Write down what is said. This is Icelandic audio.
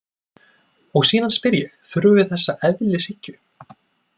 Og síðan spyr ég: Þurfum við þessa eðlishyggju?